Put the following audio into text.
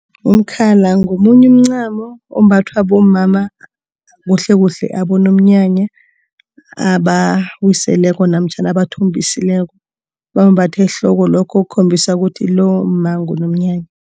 Umkhala ngomunye umncamo ombathwa bomama kuhlekuhle abonomnyanya, abawiseleko namtjhana abathombisileko. Bawumbatha ehloko, lokho kukhombisa ukuthi lomma ngunomnyanya.